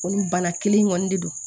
O ni bana kelen in kɔni de don